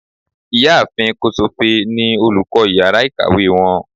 ìyáàfín kosofe ní olukọ ìyára ikáwe wón.